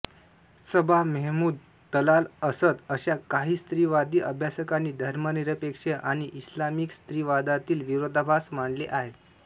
सबा मेहमूद तलाल असद अशा काही स्त्रीवादी अभ्यासकांनी धर्मनिरपेक्ष आणि इस्लामिक स्त्रीवादातील विरोधाभास मांडले आहेत